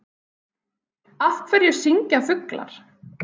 Af hverju syngja fuglar?